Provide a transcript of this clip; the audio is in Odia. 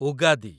ଉଗାଦି